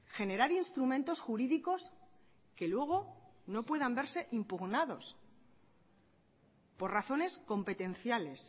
generar instrumentos jurídicos que luego no puedan verse impugnados por razones competenciales